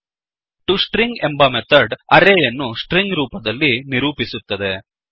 to string ಎಂಬ method ಅರೇಯನ್ನು string ರೂಪದಲ್ಲಿ ನಿರೂಪಿಸುತ್ತದೆ